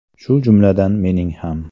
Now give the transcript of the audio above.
Shu jumladan mening ham.